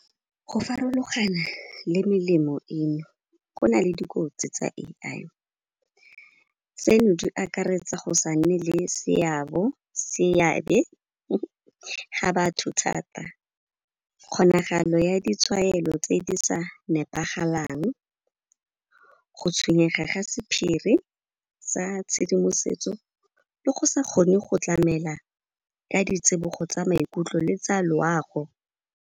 Go farologana le melemo eno, go na le dikotsi tsa A_I. Tseno di akaretsa go sa nne le seabe ga batho thata, kgonagalo ya ditshwaelo tse di sa nepagalang, go tshwenyega ga sephiri sa tshedimosetso le go sa kgone go tlamela ka ditsibogo tsa maikutlo le tsa loago.